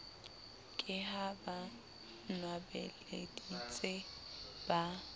ke ha ba nwabeleditse ba